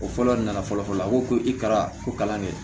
O fɔlɔ nana fɔlɔ la a ko ko i kɛra ko kalan kɛ